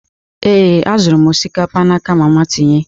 Ee, azụrụ m osikapa n'aka mama tinye.